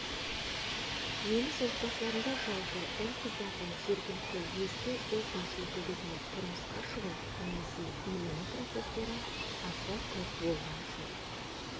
неміс отбасыларында жалпы ұл-қыздардың жергілікті өзге этнос өкілдеріне тұрмысқа шығу немесе үйлену процестері аса көп болған жоқ